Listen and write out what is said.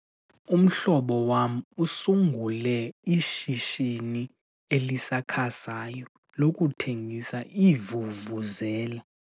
Umhlobo wam usungule ishishini elisakhasayo lokuthengisa iivuvuzela.